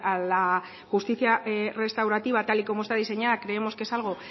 a la justicia restaurativa tal y como está diseñada creemos que es algo